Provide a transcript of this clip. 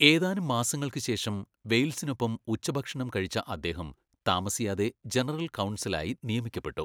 ഏതാനും മാസങ്ങൾക്ക് ശേഷം വെയിൽസിനൊപ്പം ഉച്ചഭക്ഷണം കഴിച്ച അദ്ദേഹം താമസിയാതെ ജനറൽ കൗൺസലായി നിയമിക്കപ്പെട്ടു.